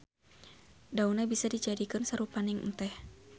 Daunna bisa dijadikeun sarupaning enteh.